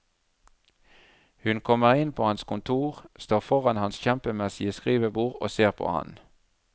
Hun kommer inn på hans kontor, står foran hans kjempemessige skrivebord og ser på ham.